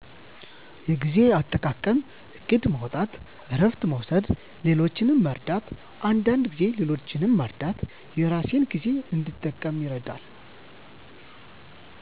የጊዜ አጠቃቀም እቅድ ማውጣት እረፍት መውሰድ ሌሎችን መርዳት አንዳንድ ጊዜ ሌሎችን መርዳት የራሴን ጊዜ እንድጠቀም ይረዳኛል።